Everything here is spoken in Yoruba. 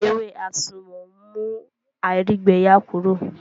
Ewé àsùnwòn ń mú àìrígbẹyà Kúrò